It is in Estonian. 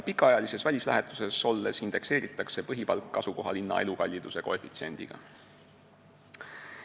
Pikaajalises välislähetuses olemise korral indekseeritakse põhipalk asukohalinna elukalliduse koefitsiendiga.